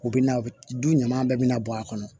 U bɛna du ɲaman bɛɛ bɛna bɔ a kɔnɔ